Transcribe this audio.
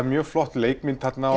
mjög flott leikmynd þarna